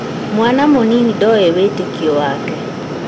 Mwana mũnini ndoĩ wĩtĩkio wake